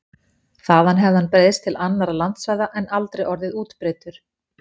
Þaðan hefði hann breiðst til annarra landsvæða en aldrei orðið útbreiddur.